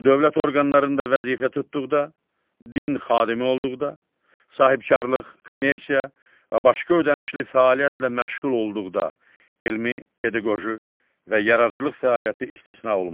Dövlət orqanlarında vəzifə tutduqda, din xadimi olduqda, sahibkarlıq, kommersiya və başqa ödənişli fəaliyyətlə məşğul olduqda, elmi, pedaqoji və yaradıcılıq fəaliyyəti istisna olmaqla.